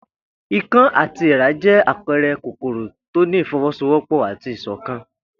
Ikán àti èèrà jẹ́ àpẹẹrẹ kòkòrò tó ní ìfọwọ́sowọ́pọ̀ àti ìṣọ̀kan